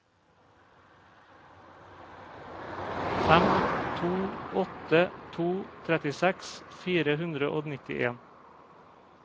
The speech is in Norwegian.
fem to åtte to trettiseks fire hundre og nittien